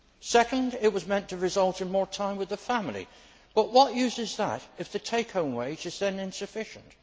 Secondly, it was meant to result in more time with the family, but what use is that if the take home wage is then insufficient?